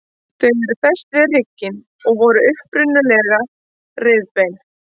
Þau eru fest við hrygginn og voru upprunalega rifbein.